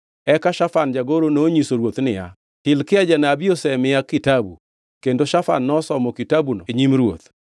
Eka Shafan jagoro nonyiso ruoth niya, “Hilkia janabi osemiya kitabu.” Kendo Shafan nosomo kitabuno e nyim ruoth.